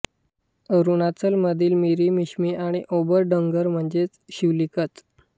अरुणाचलमधील मिरी मिश्मी आणि अभोर डोंगर म्हणजे शिवालिकच